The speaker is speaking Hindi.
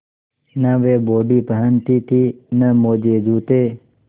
न वे बॉडी पहनती थी न मोजेजूते